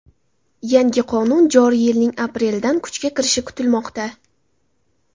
Yangi qonun joriy yilning aprelidan kuchga kirishi kutilmoqda.